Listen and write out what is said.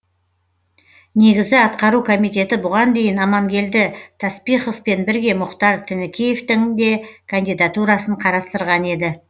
негізі атқару комитеті бұған дейін амангелді таспиховпен бірге мұхтар тінікеевтің де кандидатурасын қарастырған еді